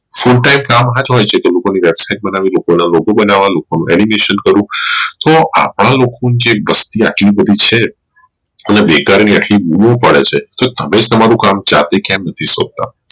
full time કામ માં જ હોઈ છે તે લોકો ની website બનાવી animation કરવું તો આપડા લોકો ની જે વસ્તી આટલી બધી છે હવે બેકારી ની આટલી બમ પડે છે તો તમે જ તમારું કામ જાતે કેમ નથી શોધતા